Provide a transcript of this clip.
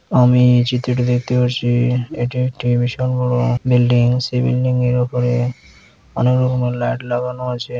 আমি-ই এই চিত্রটি দেখতে পারছি-ই এটি একটি বিশাল বড়ো-ও বিল্ডিং সেই বিল্ডিংয়ের ওপরে অনেক রকমের লাইট লাগানো আছে।